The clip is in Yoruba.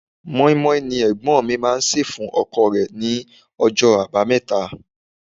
Mọ́í-mọ́í ni Ẹ̀gbọ́n mi máa ń se fún ọkọ̀ rẹ ní ọjọ́ abameta.